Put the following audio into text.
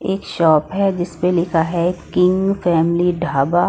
एक शॉप है जिस पे लिखा है किंग फैमिली ढाबा।